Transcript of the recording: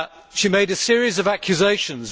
She made a series of accusations.